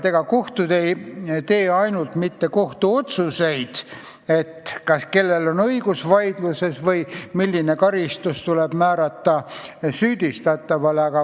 Ega kohtud ei tee ainult kohtuotsuseid, et kellel on õigus mingis vaidluses või milline karistus tuleb määrata süüdlasele.